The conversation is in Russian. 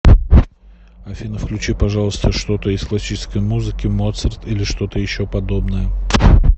афина включи пожалуйста что то из классической музыки моцарт или что то еще подобное